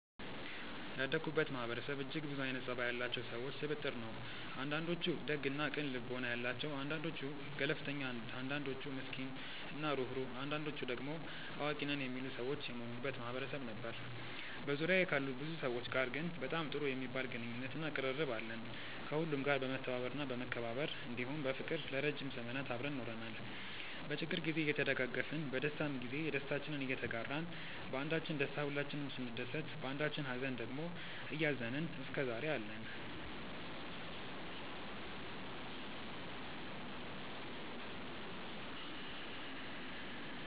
ያደኩበት ማህበረሰብ እጅግ ብዙ አይነት ፀባይ ያላቸው ሰዎች ስብጥር ነው። አንዳንዶቹ ደግ እና ቅን ልቦና ያላቸው አንዳንዶቹ ገለፍተኛ አንዳንዶቹ ምስኪን እና ሩህሩህ አንዳንዶቹ ደሞ አዋቂ ነን የሚሉ ሰዎች የሞሉበት ማህበረሰብ ነበር። በዙሪያዬ ካሉ ብዙ ሰዎች ጋር ግን በጣም ጥሩ የሚባል ግንኙነት እና ቅርርብ አለን። ከሁሉም ጋር በመተባበር እና በመከባበር እንዲሁም በፍቅር ለረዥም ዘመናት አብረን ኖረናል። በችግር ግዜ እየተደጋገፍን በደስታም ግዜ ደስታችንን እየተጋራን ባንዳችን ደስታ ሁላችንም ስንደሰት ባንዳችኝ ሃዘን ደግሞ እያዘንን እስከዛሬ አለን።